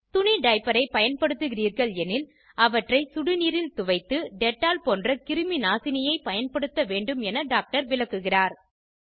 துணி டைப்பரை பயன்படுத்துகிறீர்கள் எனில் அவற்றை சுடுநீரில் துவைத்து டெட்டால் போன்ற கிருமி நாசினியைப் பயன்படுத்த வேண்டும் என டாக்டர் விளக்குகிறார்